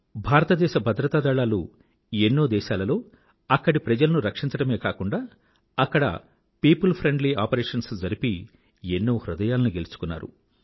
భారతదేశ భద్రతా దళాలు ఎన్నో దేశాలలో అక్కడి ప్రజలను రక్షించడమే కాకుండా అక్కడ పియోపుల్ ఫ్రెండ్లీ ఆపరేషన్స్ జరిపి ఎన్నో హృదయాలను గెలుచుకున్నారు